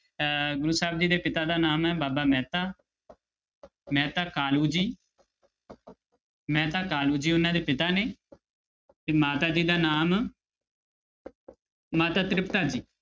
ਅਹ ਗੁਰੂ ਸਾਹਿਬ ਜੀ ਦੇ ਪਿਤਾ ਦਾ ਨਾਮ ਹੈ ਬਾਬਾ ਮਹਿਤਾ ਮਹਿਤਾ ਕਾਲੂ ਜੀ ਮਹਿਤਾ ਕਾਲੂ ਜੀ ਉਹਨਾਂ ਦੇ ਪਿਤਾ ਨੇ ਤੇ ਮਾਤਾ ਜੀ ਦਾ ਨਾਮ ਮਾਤਾ ਤ੍ਰਿਪਤਾ ਜੀ।